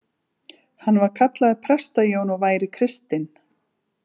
Hann væri kallaður Presta-Jón og væri kristinn.